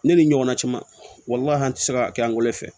Ne ni ɲɔgɔnna caman an tɛ se ka kɛ an wolo fɛ